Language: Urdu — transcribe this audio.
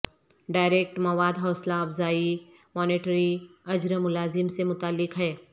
ڈائریکٹ مواد حوصلہ افزائی مانیٹری اجر ملازم سے متعلق ہے